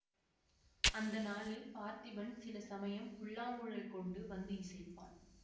அந்த நாளில் பார்த்திபன் சில சமயம் புல்லாங்குழல் கொண்டு வந்து இசைப்பான்